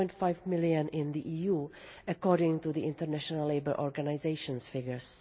2.5 million in the EU, according to the International Labour Organisation's figures.